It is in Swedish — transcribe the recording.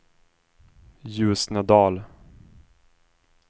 Ljusnedal